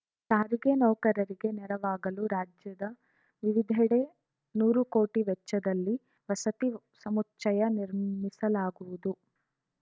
ಸಾರಿಗೆ ನೌಕರರಿಗೆ ನೆರವಾಗಲು ರಾಜ್ಯದ ವಿವಿಧೆಡೆ ನೂರು ಕೋಟಿ ವೆಚ್ಚದಲ್ಲಿ ವಸತಿ ಸಮುಚ್ಚಯ ನಿರ್ಮಿಸಲಾಗುವುದು